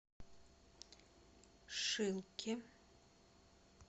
шилке